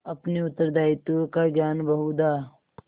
अपने उत्तरदायित्व का ज्ञान बहुधा